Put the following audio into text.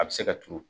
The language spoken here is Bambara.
A bɛ se ka turu